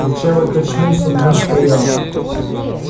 курчавый качнулся но устоял